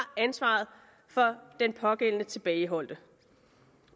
ansvaret for den pågældende tilbageholdte